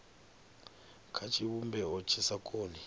kha tshivhumbeo tshi sa koni